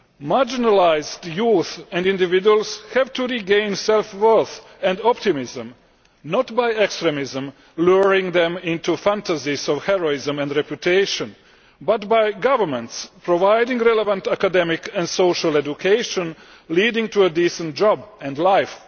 Marginalised youth and individuals have to regain self worth and optimism, not by extremists luring them into fantasies of heroism and reputation but by governments providing relevant academic and social education leading to a decent job and life.